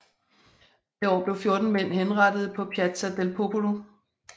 Det år blev fjorten mænd henrettet på Piazza del Popolo